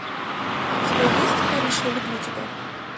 у тебя есть париж я люблю тебя